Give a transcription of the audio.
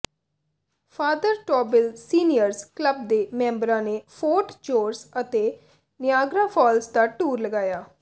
father Tobin Seniors Club ਦੇ ਮੈਂਬਰਾਂ ਨੇ ਫੋਰਟ ਜੌਰਜ ਅਤੇ ਨਿਆਗਰਾ ਫ਼ਾਲਜ਼ ਦਾ ਟੂਰ ਲਗਾਇਆ